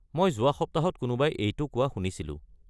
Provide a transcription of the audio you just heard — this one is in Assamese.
মই যোৱা সপ্তাহত কোনোবাই এইটো কোৱা শুনিছিলোঁ।